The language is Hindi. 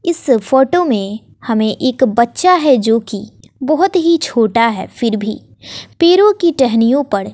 इस फोटो में हमें एक बच्चा है जो की बहोत ही छोटा है फिर भी पैरो की टहनियों पर--